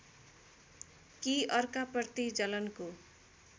कि अर्काप्रति जलनको